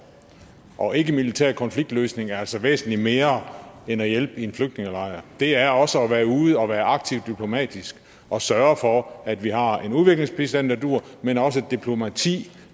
og ikkemilitær konfliktløsning er altså væsentlig mere end at hjælpe i en flygtningelejr det er også at være ude og være aktiv diplomatisk og sørge for at vi har en udviklingsbistand der duer men også et diplomati